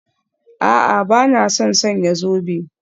A'a, ba na son sanya zobe